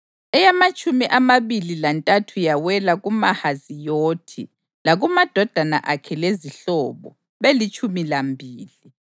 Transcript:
eyamatshumi amabili lantathu yawela kuMahaziyothi, lakumadodana akhe lezihlobo, belitshumi lambili;